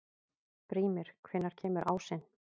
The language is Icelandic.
Brímir, hvenær kemur ásinn?